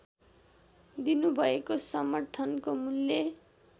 दिनुभएको समर्थनको मूल्य